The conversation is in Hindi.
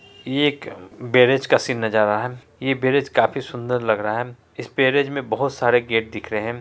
एक ब्रिज का सीन नजर आ रहा है ये ब्रिज काफी सुंदर लग रहा है इस ब्रीज में बहुत सारे गेट दिख रहे है।